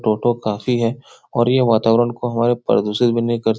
टोटो काफी है और ये वातावरण को हमारे प्रदूषित भी नहीं कर --